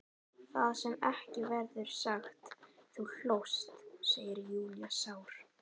Það sem ekki verður sagt Þú hlóst, segir Júlía sár.